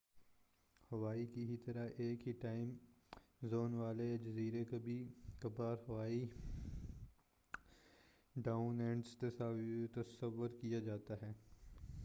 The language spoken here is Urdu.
ہوائی کی ہی طرح ایک ہی ٹائم زون والے یہ جزیرے کبھی کبھار ہوائی ڈاؤن انڈر تصور کیا جاتا ہے